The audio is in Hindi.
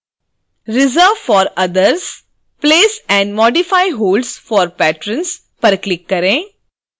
reserveforothers place and modify holds for patrons पर क्लिक करें